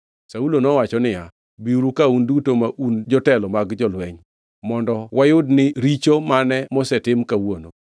Saulo nowacho niya, “Biuru ka, un duto ma un jotelo mag jolweny, mondo wayud ni richo mane mosetim kawuono.